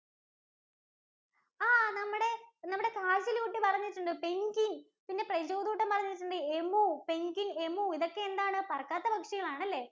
ആ നമ്മുടെ കാല് കുട്ടി പറഞ്ഞിട്ടുണ്ട Penguin പിന്നെ നമ്മുടെ പ്രജോദ് കുട്ടന്‍ പറഞ്ഞിട്ടുണ്ട്. Emu, Penguin, emu ഇതൊക്കെ എന്താണ് ഇതൊക്കെ പറക്കാത്ത പക്ഷികളാണല്ലേ?